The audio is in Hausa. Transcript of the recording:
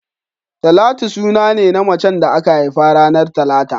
Talatu suna ne na macen da aka haifa ranar talata